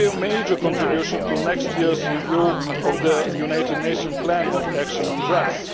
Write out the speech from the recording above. It will make a major contribution to next year's review of the United Nations plan of action on drugs.